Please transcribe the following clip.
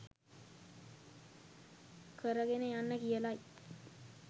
කරගෙන යන්න කියලයි.